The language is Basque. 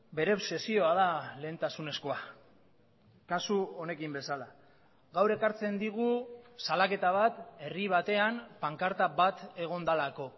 bere obsesioa da lehentasunezkoa kasu honekin bezala gaur ekartzen digu salaketa bat herri batean pankarta bat egon delako